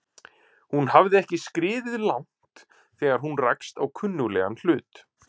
Hún hafði ekki skriðið langt þegar hún rakst á kunnuglegan hlut.